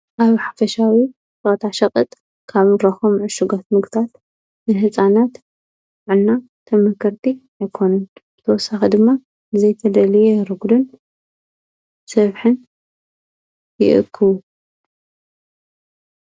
ኣብ ኅፈሻዊ ታሸቕጥ ካብራኾም ዕሽጐት ምግታት ንንሕፃናት ዕና ተመከርቲ ኤኮኑን ተወሳኽ ድማ ዘይተለልየ ርጕድን ሰብኅን ይእክቡ።